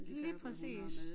Lige præcis